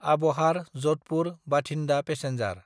आबहार–जधपुर–बाथिन्दा passenger